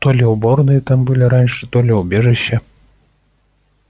то ли уборные там были раньше то ли убежища